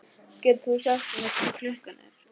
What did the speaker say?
Getur þú sagt mér hvað klukkan er?